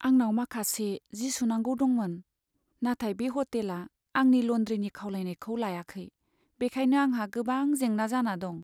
आंनाव माखासे जि सुनांगौ दंमोन, नाथाय बे ह'टेला आंनि ल'न्ड्रिनि खावलायनायखौ लायाखै, बेखायनो आंहा गोबां जेंना जाना दं।